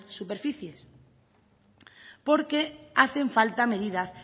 superficies porque hacen falta medidas